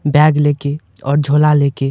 bag लेके और झोला लेके--